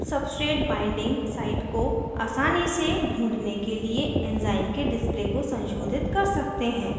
हम substrate binding site को आसानी से ढूँढने के लिए enzyme के display को संशोधित कर सकते हैं